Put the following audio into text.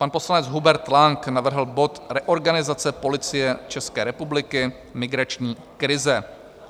Pan poslanec Hubert Lang navrhl bod Reorganizace Policie České republiky, migrační krize.